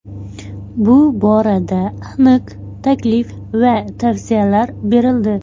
Bu borada aniq taklif va tavsiyalar berildi.